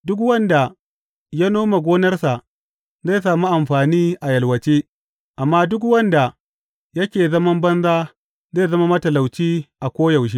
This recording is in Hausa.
Duk wanda ya nome gonarsa zai sami amfani a yalwace, amma duk wanda yake zaman banza zai zama matalauci a koyaushe.